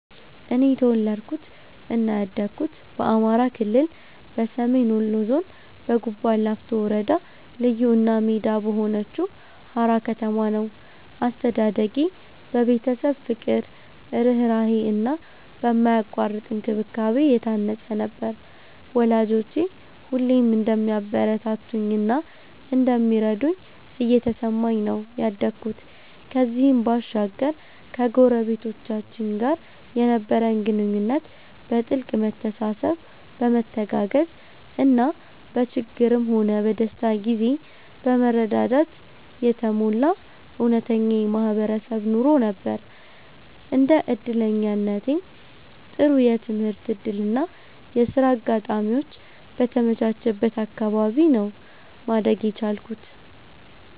እኔ የተወለድኩት እና ያደኩት በአማራ ክልል፣ በሰሜን ወሎ ዞን፣ በጉባላፍቶ ወረዳ ልዩ እና ሜዳ በሆነችው ሃራ ከተማ ነው። አስተዳደጌ በቤተሰብ ፍቅር፣ ርህራሄ እና በማያቋርጥ እንክብካቤ የታነጸ ነበር፤ ወላጆቼ ሁሌም እንደሚያበረታቱኝ እና እንደሚረዱኝ እየተሰማኝ ነው ያደኩት። ከዚህም ባሻገር ከጎረቤቶቻችን ጋር የነበረን ግንኙነት በጥልቅ መተሳሰብ፣ በመተጋገዝ እና በችግርም ሆነ በደስታ ጊዜ በመረዳዳት የተሞላ እውነተኛ የማህበረሰብ ኑሮ ነበር። እንደ እድለኛነቴም ጥሩ የትምህርት እድል እና የሥራ አጋጣሚዎች በተመቻቸበት አካባቢ ነው ማደግ የቻልኩት።